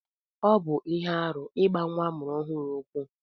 Ọbụ ihe arụ igba nwa amụrụ ohuru ụkwụ.